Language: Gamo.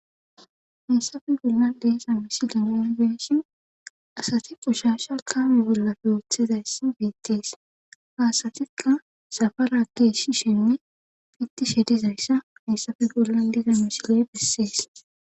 mussafe gulna deeza misile nonbeeshin asati ushaasha kaame wurzapfe ooththizayssa beettees haasatikka safarageshi shenne pitti she dizayssa hayssafe bollan deeza misiley bessees